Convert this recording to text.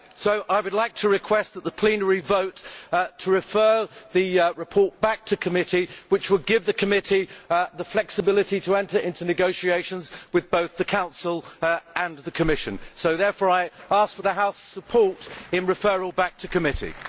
I would therefore like to request that the plenary vote to refer the report back to committee, which would give the committee the flexibility to enter into negotiations with both the Council and the Commission. I therefore ask for the House's support for a referral back to committee.